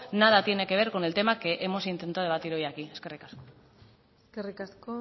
nada tiene que ver con el tema que hemos intentado debatir hoy aquí eskerrik asko eskerrik asko